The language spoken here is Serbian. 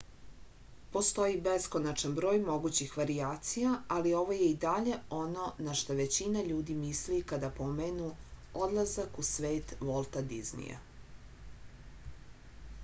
postoji beskonačan broj mogućih varijacija ali ovo je i dalje ono na šta većina ljudi misli kada pomenu odlazak u svet volta diznija